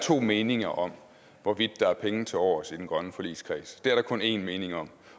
to meninger om hvorvidt der er penge tilovers i den grønne forligskreds det er der kun en mening om